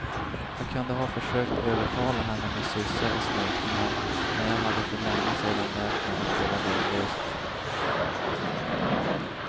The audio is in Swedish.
Jag kunde ha försökt övertala henne med kyssar och smekningar, men jag hade för länge sedan lärt mig att det var lönlöst.